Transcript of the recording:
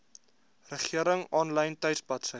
regering aanlyn tuisbladsy